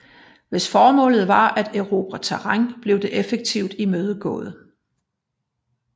Hvis formålet var at erobre terræn blev det effektivt imødegået